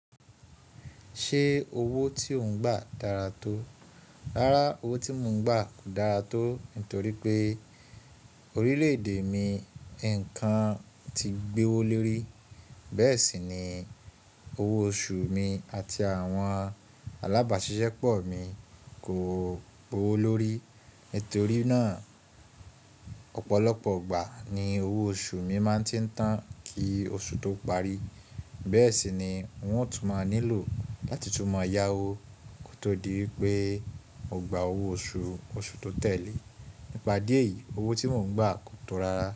Ṣé owó tí ò ń gbà dára tó? Rárá, owó tí mò ń gbà kò dára tó, nítorí pé orílẹ̀-èdè mi nǹkan ti gbéwó lérí. Bẹ́ẹ̀ sì ni, owó oṣù mi àti àwọn alábàáṣiṣẹ́ pọ̀ mi kò gbówo lórí. Nítorí náà, ọ̀pọ̀lọpọ̀ ìgbà ni owó oṣù mi máa ń tí ń tán kí oṣù tó parí. Bẹ́ẹ̀ sì ni wọ́n ó tún máa nílò láti tú máa yá owó kó tó di wípé mo gba owó oṣù, oṣù tó tẹ̀lé. Nípa díẹ̀ yìí, owó tí mò ń gba kò tó rara.